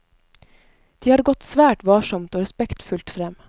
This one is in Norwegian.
De har gått svært varsomt og respektfullt frem.